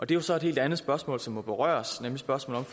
det er så et helt andet spørgsmål som må berøres nemlig spørgsmålet